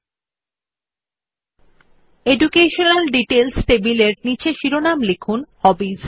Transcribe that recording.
শিক্ষাগত বিবরণ সংক্রান্ত টেবিলের নীচে শিরোমন লিখুন হবিস